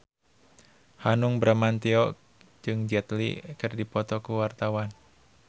Hanung Bramantyo jeung Jet Li keur dipoto ku wartawan